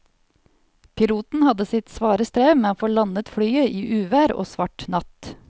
Piloten hadde sitt svare strev med å få landet flyet i uvær og svart natt.